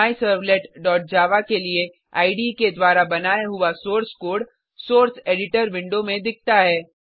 myservletजावा के लिए इडे के द्वारा बनाया हुआ source code source editor window में दिखता है